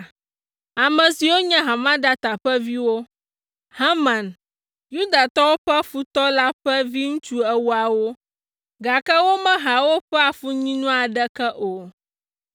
ame siwo nye Hamedata ƒe viwo, Haman, Yudatɔwo ƒe futɔ la ƒe viŋutsu ewoawo, gake womeha woƒe afunyinu aɖeke o.